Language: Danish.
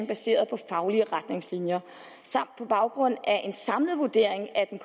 baseret på faglige retningslinjer samt på baggrund af en samlet vurdering af den